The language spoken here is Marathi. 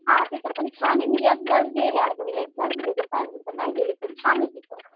हां तिथं पण छान आहे मी एकदाच गेले अगं एकदाच गेले नाही गेले पण छान आहे तिथं.